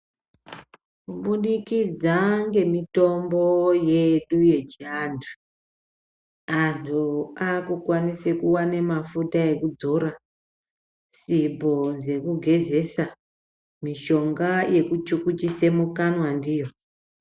Kubudikidza ngemitombo yedu yechiantu antu akukwanise kuvana mafuta ekudzora, sipo dzekugezesa mishonga yekuchukuchisa mukanwa ndiyo.